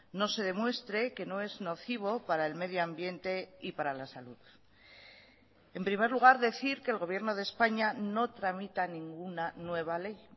no se demuestre que no es nocivo para el medio ambiente y para la salud en primer lugar decir que el gobierno de españa no tramita ninguna nueva ley